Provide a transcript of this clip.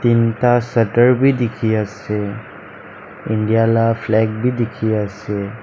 tinta sheter bhi dekhi ase india laga flag bhi dekhi ase.